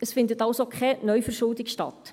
es findet also Neuverschuldung statt.